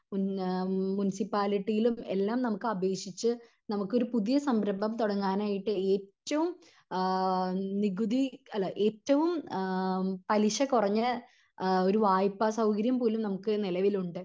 മുൻ മുൻസിപ്പാലിറ്റിയിലും എല്ലാം നമുക്ക് അപേക്ഷിച്ച് നമുക്കൊരു പുതിയ സംരംഭം തുടങ്ങാൻ ആയിട്ട് ഏറ്റവും ആഹ് നികുതി അല്ല ഏറ്റവും പലിശ കുറഞ്ഞ ഒരു വായ്‌പ്പ സൗകര്യം പോലും നമുക്ക് നിലവിലുണ്ട്